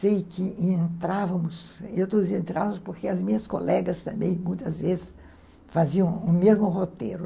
Sei que entrávamos, eu dizia, entrávamos porque as minhas colegas também, muitas vezes, faziam o mesmo roteiro.